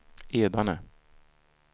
Edane